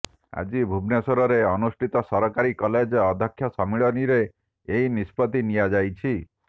ଆଜି ଭୁବନେଶ୍ୱରରେ ଅନୁଷ୍ଠିତ ସରକାରୀ କଲେଜ ଅଧ୍ୟକ୍ଷ ସମ୍ମିଳନୀରେ ଏହି ନିଷ୍ପତ୍ତି ନିଆଯାଇଛି